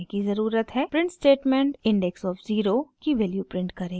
print statement index of zero 0 की value print करेगा